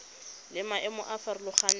le maemo a a farologaneng